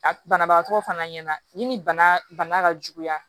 A banabagatɔ fana ɲɛna ni bana ka juguya